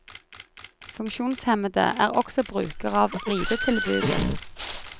Funksjonshemmede er også brukere av ridetilbudet.